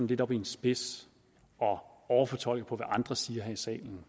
lidt op i en spids og overfortolker hvad andre siger her i salen